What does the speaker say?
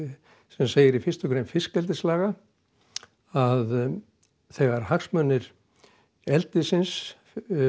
sem segir í fyrstu grein fiskeldislaga að þegar hagsmunir eldisins